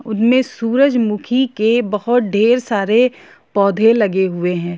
उनमें सूरजमुखी के बहुत ढेर सारे पौधे लगे हुए है।